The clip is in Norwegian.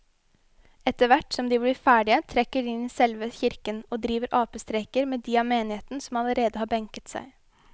Etterthvert som de blir ferdige trekker de inn i selve kirken og driver apestreker med de av menigheten som allerede har benket seg.